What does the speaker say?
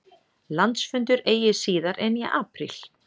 Landsfundur eigi síðar en í apríl